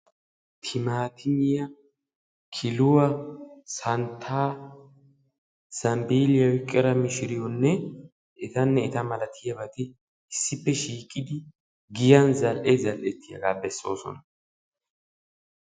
Timaatimmiya killuwa santtanne zambbilliya oyqqidda mishiretti giya zal'ee zal'ettiyooga beesosonna.